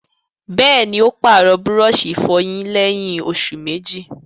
Bẹ́ẹ̀ni, ó pàrọ̀ búrọ̀sì ìfọyín lẹ́yìn òsù méjì